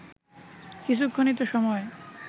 কিছুক্ষণই তো সময়